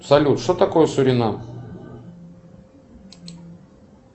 салют что такое суринам